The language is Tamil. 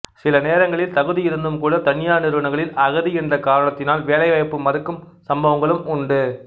சில நேரங்களில் தகுதி இருந்தும் கூட தனியார் நிறுவனங்களில் அகதி என்ற காரணத்தினால் வேலை வாய்ப்பு மறுக்கும் சம்பவங்களும் உண்டு